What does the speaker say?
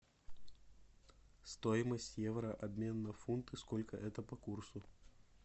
стоимость евро обмен на фунты сколько это по курсу